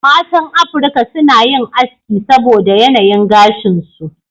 Matan Afirka suna yin aski saboda yanayin gashin su.